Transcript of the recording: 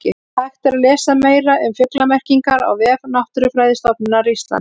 Hægt er að lesa meira um fuglamerkingar á vef Náttúrufræðistofnunar Íslands.